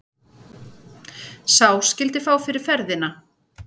Sá skyldi fá fyrir ferðina.